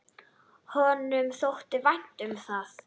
Honum þótti vænt um það.